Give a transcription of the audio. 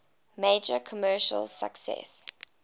major commercial success